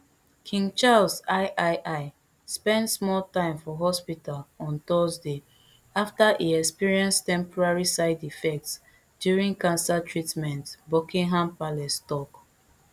king charles iii spend small time for hospital on thursday afta e experience temporary side effects during cancer treatment buckingham palace tok